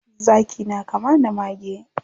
Zaki na kama da mage.